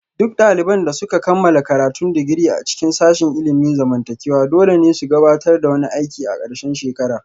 Duk daliban da suka kammala karatun digiri a cikin sashin ilimin zamantakewa dole ne su gabatar da wani aiki a ƙarshen shekara